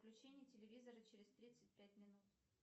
выключение телевизора через тридцать пять минут